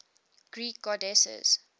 greek goddesses